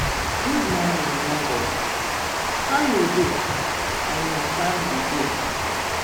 good morning, neighbor! how you dey and your family dey?